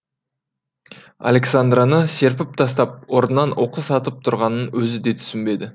александраны серпіп тастап орнынан оқыс атып тұрғанын өзі де түсінбеді